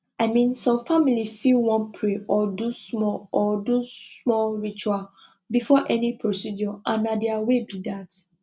i mean some families fit wan pray or do small or do small ritual before any procedure and na their way be that